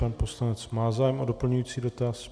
Pan poslanec má zájem o doplňující dotaz.